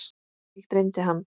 Mig dreymdi hann.